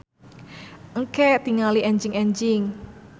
Engke tingali enjing-enjing.